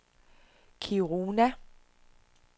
Kiruna